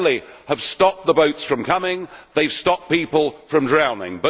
not only have stopped the boats from coming, they have stopped people from drowning.